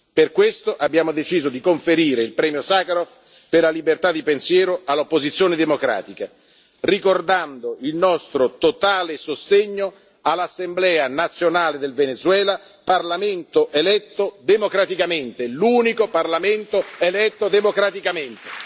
umani. Per questo abbiamo deciso di conferire il premio Sacharov per la libertà di pensiero all'opposizione democratica, ricordando il nostro totale sostegno all'Assemblea nazionale del Venezuela, parlamento eletto democraticamente, l'unico parlamento eletto democraticamente.